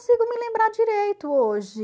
me lembrar direito hoje.